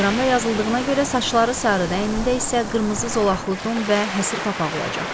Teleqramda yazıldığına görə saçları sarı, əynində isə qırmızı zolaqlı don və həsır papaq olacaq.